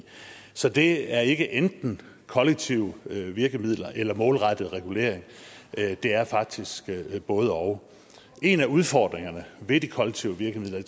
så det er ikke enten kollektive virkemidler eller målrettet regulering det er faktisk både og en af udfordringerne ved de kollektive virkemidler